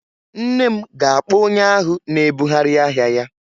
Nne m ga-akpọ onye ahụ na-ebugharị ahịa ya